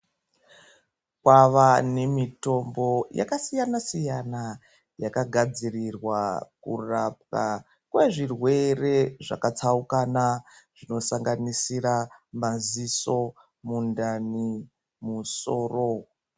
Kwava nemitombo yakasiyana siyana yakagadzirirwa kurapwa kwezvirwere zvakatsaukana zvinosanganisira maziso, mundani nemusoro.